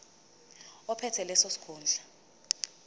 ophethe leso sikhundla